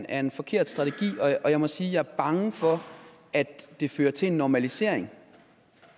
er en forkert strategi og jeg må sige at jeg er bange for at det fører til en normalisering